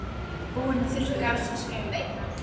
Búinn að þurrka af sér skælurnar.